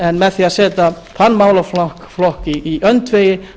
en með því að setja þann málaflokk í öndvegi